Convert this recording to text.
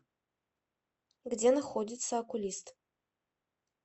где находится окулист